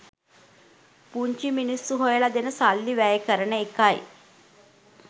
පුංචි මිනිස්‌සු හොයලා දෙන සල්ලි වැය කරන එකයි.